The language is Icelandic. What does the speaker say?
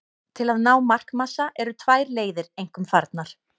Til að ná markmassa eru tvær leiðir einkum farnar.